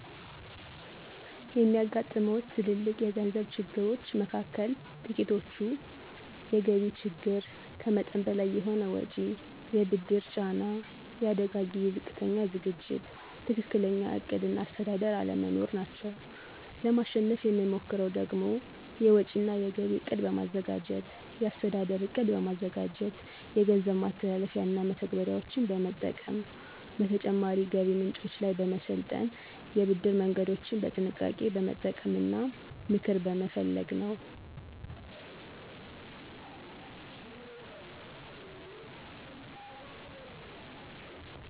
የሚያጋጥሙዎት ትልልቅ የገንዘብ ችግሮች መካከል ጥቂቶቹ፤ የገቢ ችግር፣ ከመጠን በላይ የሆነ ወጪ፣ የብድር ጫና፣ የአደጋ ጊዜ ዝቅተኛ ዝግጅት፣ ትክክለኛ ዕቅድ እና አስተዳደር አለመኖር ናቸው። ለማሸነፍ የምሞክረው ደግሞ፤ የወጪ እና የገቢ እቅድ በማዘጋጀት፣ የአስተዳደር ዕቅድ በማዘጋጀት፣ የገንዘብ ማስተላለፊያና መተግበሪያዎችን በመጠቀም፣ በተጨማሪ ገቢ ምንጮች ላይ በመሰልጠን፣ የብድር መንገዶችን በጥንቃቄ በመጠቀም እና ምክር በመፈለግ ነው።